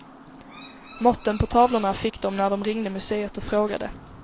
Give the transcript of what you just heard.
Måtten på tavlorna fick de när de ringde museet och frågade.